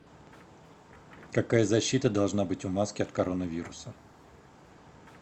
какая защита должна быть у маски от коронавируса